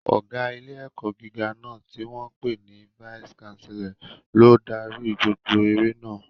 Ọ̀gá ilé-ẹ̀kọ́ gíga náà, tí wọ́n ń pè ní vice Chancellor, ló ń darí gbogbo eré náà.